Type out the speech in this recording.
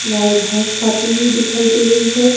गाय घास खाती हुई दिखाई दे रही है।